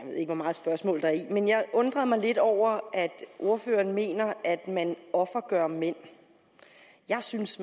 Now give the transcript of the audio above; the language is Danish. ved ikke hvor meget spørgsmål der er i det men jeg undrede mig lidt over at ordføreren mener at man offergør mænd jeg synes